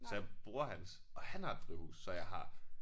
Så jeg bruger hans og han har et drivhus så jeg har